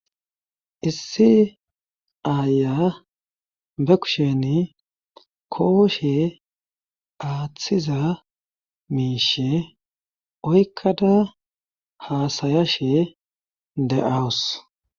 issi aaya be kusheni kooshe aaththiza miishe oykkada haasaya she de7awus